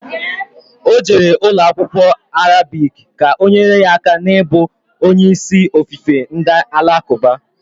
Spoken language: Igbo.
Ọ jere ụlọ akwụkwọ Arabic, ka ọ nyere ya aka n'ibu onye isi ofufe ndị alakuba